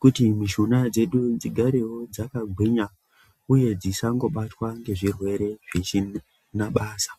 kuti mushuna dzedu dzigarewo dzakagwinya uye dzisangobatwa nezvirwere zvisina basa.